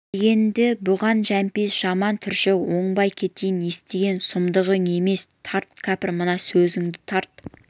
деген-ді бұған жәмпейіс жаман түршігіп оңбай кетейін естіген сұмдығым емес тарт кәпір мына сөзіңді тарт